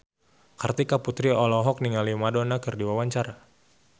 Kartika Putri olohok ningali Madonna keur diwawancara